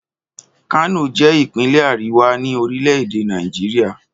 Kano je ipinle Ariwa ni orile-ede Nàìjíríà.